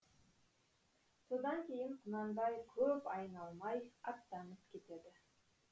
содан кейін құнанбай көп айналмай аттанып кетеді